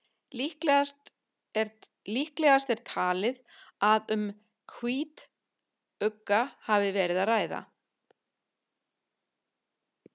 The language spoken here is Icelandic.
líklegast er talið að um hvítugga hafi verið að ræða